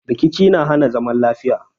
Rikici na hana zaman lafiya